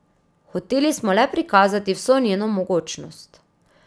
Hoteli smo le prikazati vso njeno mogočnost.